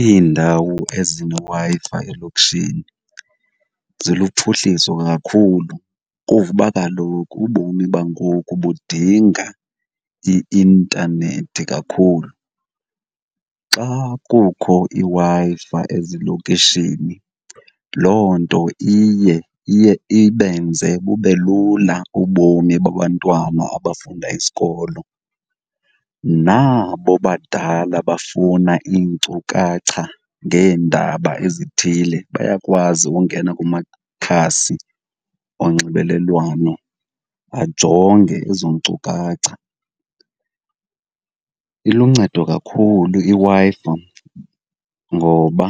Iindawo ezineWi-Fi elokishini ziluphuhliso kakhulu kuzuba kaloku ubomi bangoku budinga i-intanethi kakhulu. Xa kukho iWi-Fi ezilokishini loo nto iye, iye ibenze bube lula ubomi babantwana abafunda isikolo nabo badala bafuna iinkcukacha ngeendaba ezithile bayakwazi ukungena kumakhasi onxibelelwano ajonge ezo nkcukacha. Iluncedo kakhulu iWi-Fi ngoba